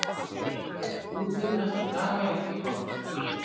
Veðurútlit næstu daga er ekki gott